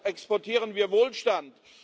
Deshalb exportieren wir Wohlstand.